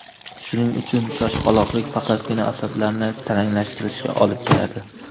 Shuning uchun shoshqaloqlik faqatgina asablarni taranglashtirishga olib keladi.